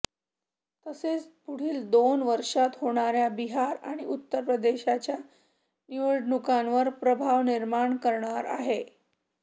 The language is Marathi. तसेच पुढील दोन वर्षात होणाऱ्या बिहार आणि उत्तर प्रदेशच्या निवडणूकांवर प्रभाव निर्माण करणारा आहे